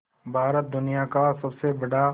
भारत दुनिया का सबसे बड़ा